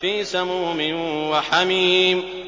فِي سَمُومٍ وَحَمِيمٍ